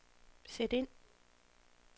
sæt ind